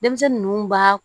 Denmisɛnnin ninnu b'a